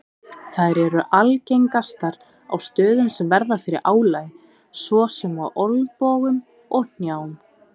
Þær eru algengastar á stöðum sem verða fyrir álagi svo sem á olnbogum og hnjám.